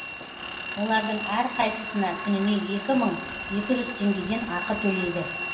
олардың әрқайсысына күніне екі мың екі жүз теңгеден ақы төлейді